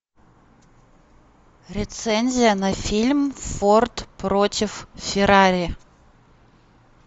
рецензия на фильм форд против феррари